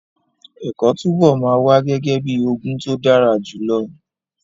Ẹ̀kọ́ túbọ̀ máa wà gẹ́gẹ́ bíi ogún tó dára jùlọ.